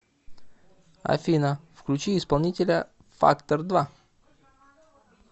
афина включи исполнителя фактор два